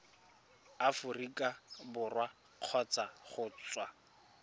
aforika borwa kgotsa go tswa